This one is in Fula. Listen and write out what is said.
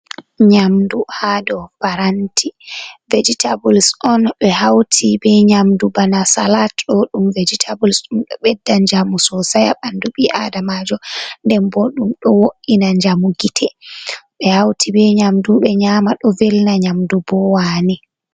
Nyamdu ha do paranti vejetables on ɓe hauti ɓe nyamdu bana salat ɗo ɗum, vejetables ɗum ɗo bedda njamu so say ha ɓandu bii adamajo, nden boddum ɗo wo’ina njamu gite ɓe hauti ɓe nyamdu ɓe nyama ɗo velna nyamdu bowani.